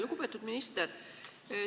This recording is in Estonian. Lugupeetud minister!